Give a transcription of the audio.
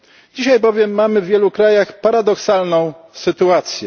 Dzisiaj bowiem mamy w wielu krajach paradoksalną sytuację.